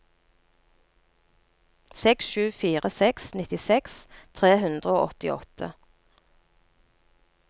seks sju fire seks nittiseks tre hundre og åttiåtte